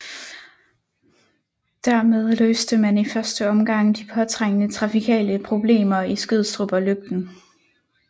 Der med løste man i første omgang de påtrængende trafikale problemer i Skødstrup og Løgten